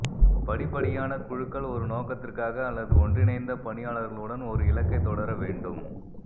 படிப்படியான குழுக்கள் ஒரு நோக்கத்திற்காக அல்லது ஒன்றிணைந்த பணியாளர்களுடன் ஒரு இலக்கைத் தொடர வேண்டும்